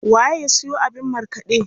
Waye ya siyo abin markaɗe?